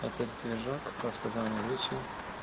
этот движок распознавание речи